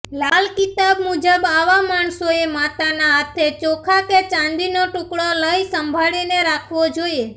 લાલ કિતાબ મુજબ આવા માણસોએ માતાના હાથે ચોખા કે ચાંદીનો ટુકડો લઈ સંભાળી રાખવો જોઈએ